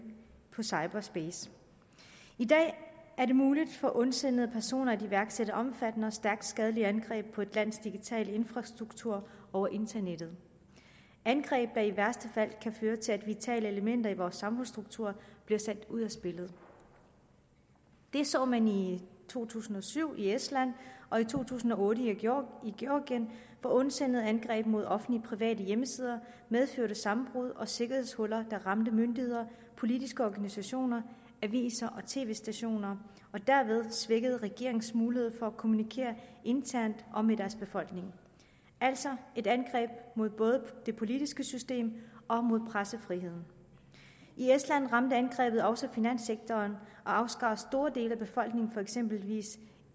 i cyberspace i dag er det muligt for ondsindede personer at iværksætte omfattende og stærkt skadelige angreb på et lands digitale infrastruktur over internettet angreb der i værste fald kan føre til at vitale elementer i vores samfundsstruktur bliver sat ud af spillet det så man i to tusind og syv i estland og i to tusind og otte i georgien hvor ondsindede angreb mod offentlige og private hjemmesider medførte sammenbrud og sikkerhedshuller der ramte myndigheder politiske organisationer aviser og tv stationer og derved svækkede regeringernes mulighed for at kommunikere internt og med deres befolkninger altså et angreb mod både det politiske system og pressefriheden i estland ramte angrebet også finanssektoren og afskar store dele af befolkningen fra eksempelvis